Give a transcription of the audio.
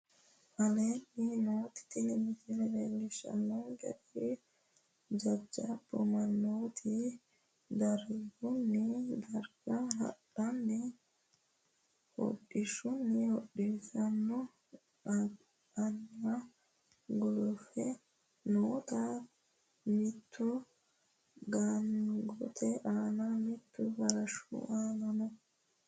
Aleenni nooti tini misile leellishaankeri jajabbu manootti darigunni dariga haadhe hodhisanno hodhishaano aanna guluffe nootanna mittu gaangotte aana mittu farashu aananno